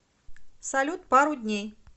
салют пару дней